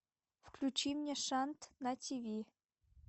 включи мне шант на тиви